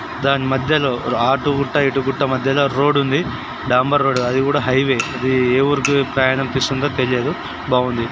దాని మధ్యలో ఆటగుట్ట ఇటు గుట్ట మధ్యలో రోడ్డు ఉంది. బాంబర్ రోడ్డు. అది కూడా హైవే. ఇదే ఏ ఊరికి పోవాలనిపిస్తుందో తెలియదు. బాగుంది.